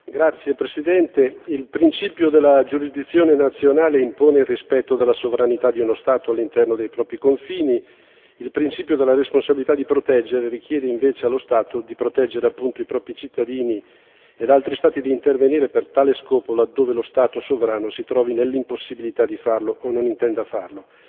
Signor Presidente, onorevoli colleghi, il principio della giurisdizione nazionale impone il rispetto della sovranità di uno Stato all'interno dei propri confini e il principio della responsabilità di proteggere richiede invece allo Stato di proteggere appunto i propri cittadini e altri Stati d'intervenire per tale scopo, laddove lo Stato sovrano si trovi nell'impossibilità di farlo o non intenda farlo.